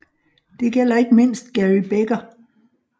Det gælder ikke mindst Gary Becker